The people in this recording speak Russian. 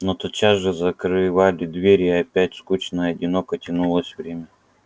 но тотчас же закрывали дверь и опять скучно и одиноко тянулось время